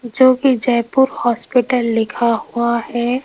जो कि जयपुर हॉस्पिटल लिखा हुआ है।